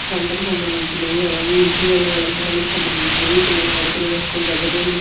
వంటకు సంబంధించినవి అలాగే ఇంటీరియర్ అలంకారానికి సంబంధించినవి పిల్లలు ఆడుకునే వస్తువుల దగ్గర నుండి.